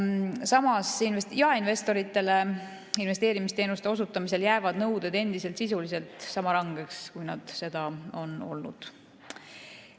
Samas, jaeinvestoritele investeerimisteenuste osutamisel jäävad nõuded endiselt sisuliselt sama rangeks, kui nad seda on olnud.